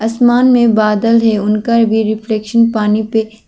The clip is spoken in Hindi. आसमान में बादल है उनका भी रिफ्लेक्शन पानी पे--